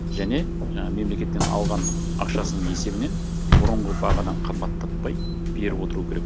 және жаңағы мемлекеттен алған ақшасының есебінен бұрынғы бағадан қымбаттатпай беріп отыруы керек